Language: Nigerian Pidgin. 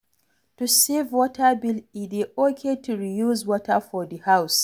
To save water bill, e dey okay to reuse water for do house